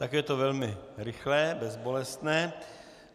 Tak je to velmi rychlé, bezbolestné.